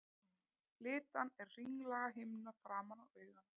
Litan er hringlaga himna framan á auganu.